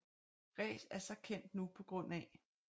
Rees er så kendt nu pga